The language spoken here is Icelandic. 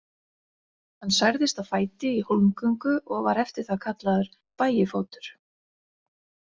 Hann særðist á fæti í hólmgöngu og var eftir það kallaður, bægifótur.